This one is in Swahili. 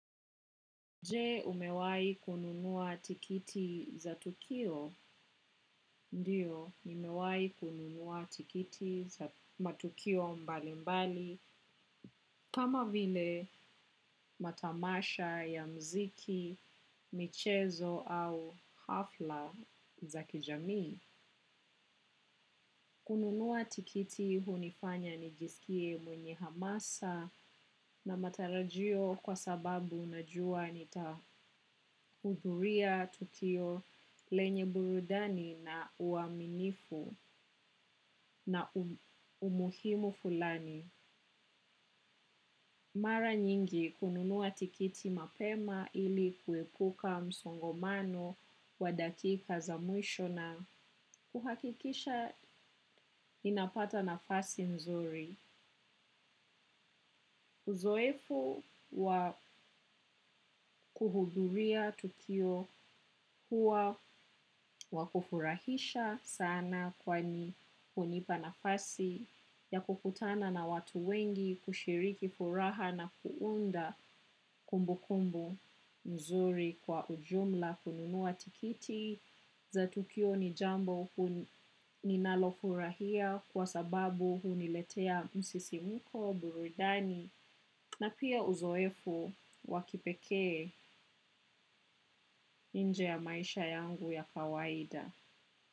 Je umewahi kununua tikiti za tukio? Ndiyo, nimewahi kununua tikiti za matukio mbali mbali, kama vile matamasha ya mziki, michezo au hafla za kijamii. Kununua tikiti hunifanya nijisikie mwenye hamasa na matarajio kwa sababu unajua nitahudhuria tukio lenye burudani na uwaminifu na umuhimu fulani. Mara nyingi kununua tikiti mapema ili kuepuka msongomano wa dakika za mwisho na kuhakikisha ninapata nafasi nzuri. Uzoefu wakuhudhuria tukio huwa wakufurahisha sana kwani hunipa nafasi ya kukutana na watu wengi kushiriki furaha na kuunda kumbukumbu mzuri kwa ujumla kununua tikiti za tukio ni jambo hu ninalofurahia kwa sababu huniletea msisimuko, burudani. Na pia uzoefu wa kipekee nje ya maisha yangu ya kawaida.